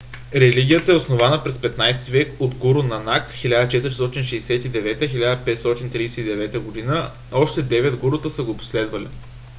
религията е основана през 15-ти век от гуру нанак 1469 – 1539 г.. още девет гурута са го последвали